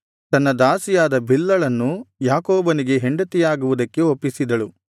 ತನ್ನ ದಾಸಿಯಾದ ಬಿಲ್ಹಳನ್ನು ಯಾಕೋಬನಿಗೆ ಹೆಂಡತಿಯಾಗುವುದಕ್ಕೆ ಒಪ್ಪಿಸಿದಳು